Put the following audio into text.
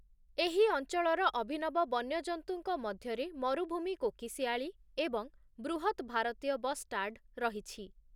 ଏହି ଅଞ୍ଚଳର ଅଭିନବ ବନ୍ୟଜନ୍ତୁଙ୍କ ମଧ୍ୟରେ ମରୁଭୂମି କୋକିଶିଆଳି ଏବଂ ବୃହତ୍ ଭାରତୀୟ ବଷ୍ଟାର୍ଡ଼ ରହିଛି ।